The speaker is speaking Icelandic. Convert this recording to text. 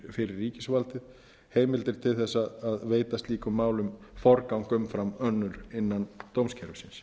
fyrir ríkisvaldið heimildir til að veita slíkum málum forgang umfram önnur innan dómskerfisins